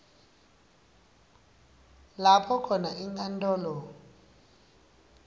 lapho khona inkantolo